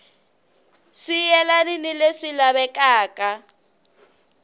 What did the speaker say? swi yelani ni leswi lavekaka